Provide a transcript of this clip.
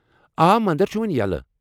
آ، مندر چُھ وۄنہِ یلہٕ ۔